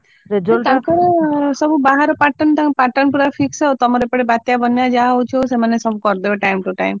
ତାଙ୍କର ସବୁ ବାହାର pattern ତାଙ୍କ pattern ପୁରା fix ଆଉ ତମର ଏପଟେ ବନ୍ୟା ବାତ୍ୟା ଯାହା ହଉଛି ହଉ ସେମାନେ ସବୁ କରିବେ time to time।